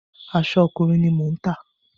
Aṣọ ọkùnrin ni mò ń tà.